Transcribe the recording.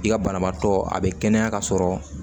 I ka banabaatɔ a be kɛnɛya ka sɔrɔ